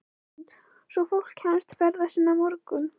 Hrund: Svo fólk kemst ferða sinna á morgun?